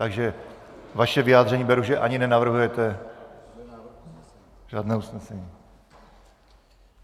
Takže vaše vyjádření beru, že ani nenavrhujete žádné usnesení.